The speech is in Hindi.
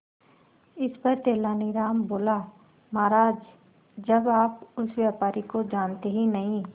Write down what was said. इस पर तेनालीराम बोला महाराज जब आप उस व्यापारी को जानते ही नहीं